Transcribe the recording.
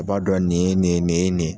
O b'a dɔn nin ye nin ye nin ye.